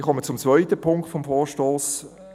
Ich komme zum zweiten Punkt des Vorstosses.